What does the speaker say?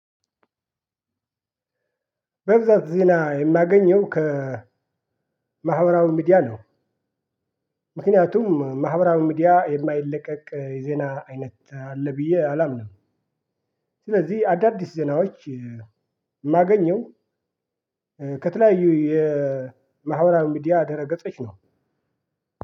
በብዛት ዜና የማገኘው ከማህበራዊ ሚዲያ ነው። ምክንያቱም ማህበራዊ ሚዲያ የማይለቀቅ የዜና አይነት አለ ብዬ አላምንም። ስለዚህ አዳዲስ ዜናዎች የማገኘው ከተለያዩ የማህበራዊ ሚዲያ ደህረ ገጾች ነው።